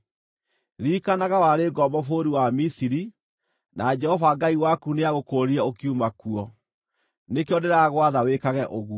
Ririkanaga warĩ ngombo bũrũri wa Misiri, na Jehova Ngai waku nĩagũkũũrire ũkiuma kuo. Nĩkĩo ndĩragwatha wĩkage ũguo.